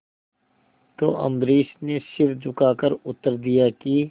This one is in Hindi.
तो अम्बरीश ने सिर झुकाकर उत्तर दिया कि